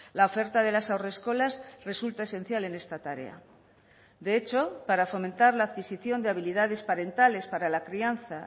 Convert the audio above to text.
la oferta de las haurreskolas resulta esencial en esta tarea de hecho para fomentar la adquisición de habilidades parentales para la crianza